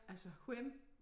Altså hvem